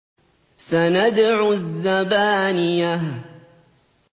سَنَدْعُ الزَّبَانِيَةَ